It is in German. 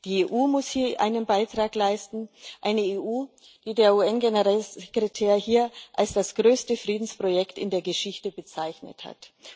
Die EU muss hier einen Beitrag leisten, eine EU, die der UN Generalsekretär hier als das größte Friedensprojekt in der Geschichte bezeichnet hat.